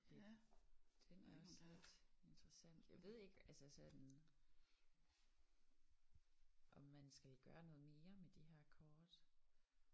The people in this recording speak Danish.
Lidt den er også lidt interessant. Jeg ved ikke altså sådan om man skal gøre noget mere med de her kort